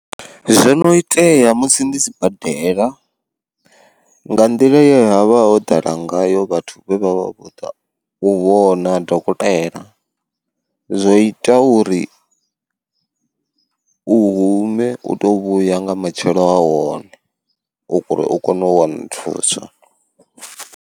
Zwono itea musi ndi si badela, nga nḓila ye ha vha ho ḓala ngayo vhathu vhe vha vha vho ḓa u vhona dokotela, zwo ita uri u hume uto vhuya nga matshelo a hone uri u kone u wana thuso.